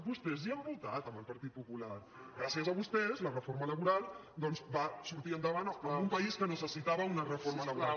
vostès ja han votat amb el partit popular gràcies a vostès la reforma laboral doncs vant en un país que necessitava una reforma laboral